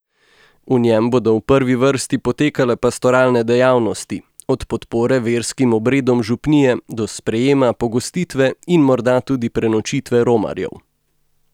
V njem bodo v prvi vrsti potekale pastoralne dejavnosti, od podpore verskim obredom župnije do sprejema, pogostitve in morda tudi prenočitve romarjev.